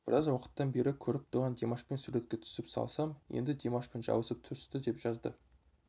біраз уақыттан бері көріп тұрған димашпен суретке түсіп салсам енді димашпен жабысып түсті деп жазды